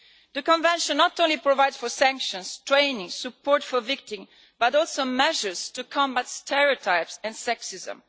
The Convention not only provides for sanctions, training, support for victims, but also measures to combat stereotypes and sexism.